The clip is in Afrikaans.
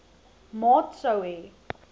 maat sou hê